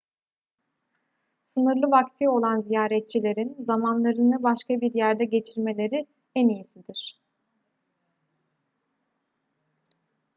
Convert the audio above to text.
sınırlı vakti olan ziyaretçilerin zamanlarını başka bir yerde geçirmeleri en iyisidir